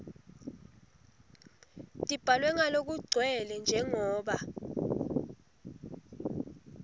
tibhalwe ngalokugcwele njengoba